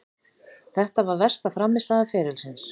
Þetta var versta frammistaða ferilsins.